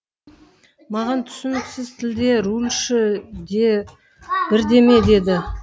маған түсініксіз тілде рульші де бірдеме деді